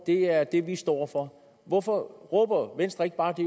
det er det vi står for hvorfor råber venstre ikke bare det